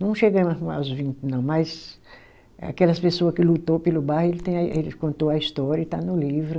Não chegamo arrumar os vinte, não, mas aquelas pessoa que lutou pelo bairro, ele tem aí, ele contou a história e está no livro.